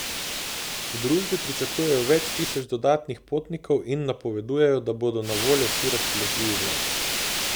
V družbi pričakujejo več tisoč dodatnih potnikov in napovedujejo, da bodo na voljo vsi razpoložljivi vlaki.